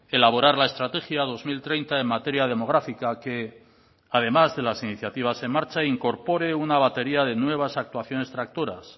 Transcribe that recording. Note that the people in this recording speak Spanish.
elaborar la estrategia dos mil treinta en materia demográfica que además de las iniciativas en marcha incorpore una batería de nuevas actuaciones tractoras